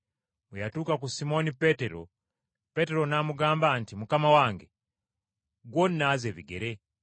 Bwe yatuuka ku Simooni Peetero, Peetero n’amugamba nti, “Mukama wange, ggwe onnaaze ebigere?”